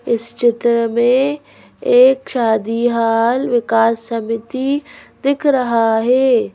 इस चित्र में एक शादी हाल विकास समिति दिख रहा है।